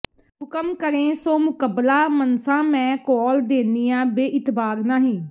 ਹੁਕਮ ਕਰੇਂ ਸੋ ਮੁਕਬਲਾ ਮੰਨਸਾਂ ਮੈਂ ਕੌਲ ਦੇਨੀਆਂ ਬੇਇਤਬਾਰ ਨਾਹੀਂ